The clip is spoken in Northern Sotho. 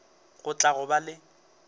go tla go boga le